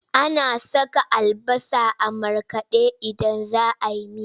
Ana saka albasa a markaɗe idan za a yi miya.